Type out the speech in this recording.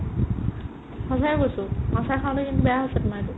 সঁচাকে কৈছো আচাৰ খালে কিন্তু বেয়া আছে তোমাৰ এইটো